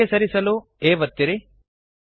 ಎಡಕ್ಕೆ ಸರಿಸಲು A ಒತ್ತಿರಿ